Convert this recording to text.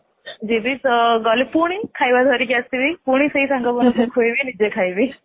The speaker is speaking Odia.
ଯିବି ପୁଣି ଗଲେ ଖାଇବା ଧରିକି ଆସିବି ପୁଣି ସେଇ ସାଙ୍ଗ ମାନଙ୍କୁ ଖୁଏଇବି ନିଜେ ଖାଇବି